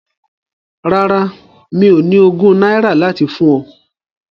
Rárá, mi ò ní ogún náírà láti fún ọ.